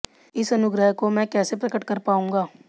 इस अनुग्रह को मैं कैसे प्रकट कर पाऊंगा